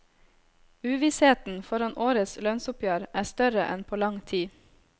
Uvissheten foran årets lønnsoppgjør er større enn på lang tid.